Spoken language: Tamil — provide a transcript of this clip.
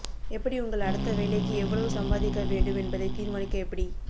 எப்படி உங்கள் அடுத்த வேலைக்கு எவ்வளவு சம்பாதிக்க வேண்டும் என்பதை தீர்மானிக்க எப்படி